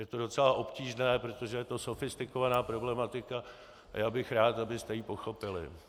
Je to docela obtížné, protože je to sofistikovaná problematika a já bych rád, abyste ji pochopili.